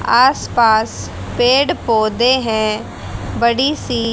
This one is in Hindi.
आस पास पेड़ पौधे हैं बड़ी सी--